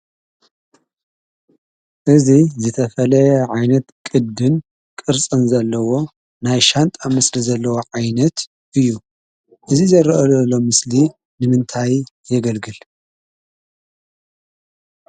እዚ ዝተፈለየ ዓይነት ቅድን ቅርፅን ዘለዎ ናይ ሻንጣ ምስሊ ዘለዎ ዓይነት እዩ፡፡ እዚ ዝረአ ዘሎ ኣብ ምስሊ ንምንታይ የገልግል?